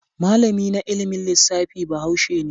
Malami na ilimin lissafi Bahaushe ne.